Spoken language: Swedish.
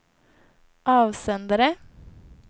avsändare